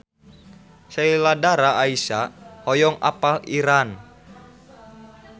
Sheila Dara Aisha hoyong apal Iran